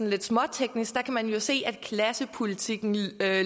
lidt småteknisk kan man jo se at klassepolitikken lever